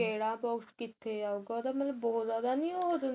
ਕਿਹੜਾ box ਕਿਥੇ ਆਉਗਾ ਉਹਦਾ ਮਤਲਬ ਬਹੁਤ ਜਿਆਦਾ ਹੋ ਜਾਂਦਾ